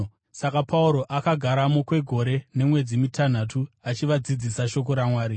Saka Pauro akagaramo kwegore nemwedzi mitanhatu, achivadzidzisa shoko raMwari.